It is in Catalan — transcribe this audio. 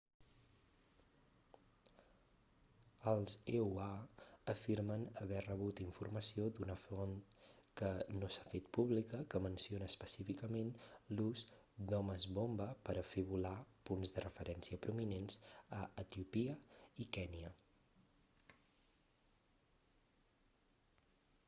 els eua afirmen haver rebut informació d'una font que no s'ha fet pública que menciona específicament l'ús d'homes-bomba per a fer volar punts de referència prominents a etiòpia i kènia